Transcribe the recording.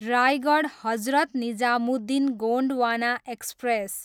Raigarh, Hazrat Nizamuddin Gondwana express